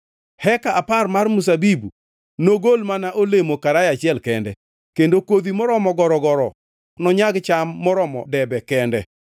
Heka apar mar mzabibu nogol mana olemo karaya achiel kende, kendo kodhi moromo gorogoro nonyag cham maromo debe kende.”